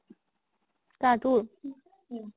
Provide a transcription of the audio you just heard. কাৰ তোৰ?